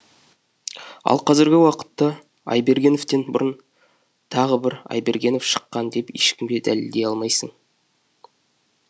ал қазіргі уақытта айбергеновтен бұрын тағы бір айбергенов шыққан деп ешкімге дәлелдей алмайсың